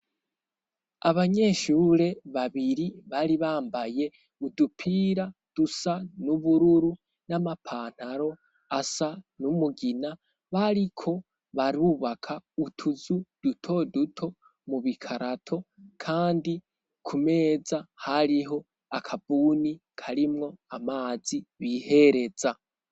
Abanyeshure babiri bari bambaye udupira dusa n'ubururu n'amapantaro asa n'umugina, bariko barubaka utuzu duto duto mu bikarato, kandi ku meza hariho akabuni karimwo amazi bihereza.